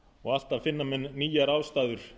og alltaf finna menn nýjar ástæður